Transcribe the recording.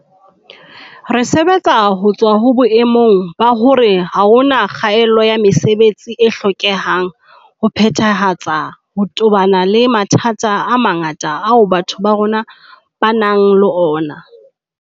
Re sebetsa ho tswa ho boemong ba hore ha hona kgaelo ya mesebetsi e hlokehang ho phethahatsa ho tobana le mathata a mangata ao batho ba rona ba nang le ona.